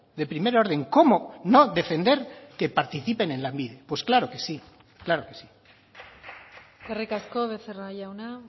de primer orden cómo no defender que participen en lanbide pues claro que sí claro que sí eskerrik asko becerra jauna